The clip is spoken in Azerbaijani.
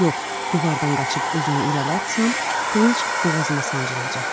Yox, divardan qaçıb özümü irəli atsam, qılınc boğazıma sancılacaq.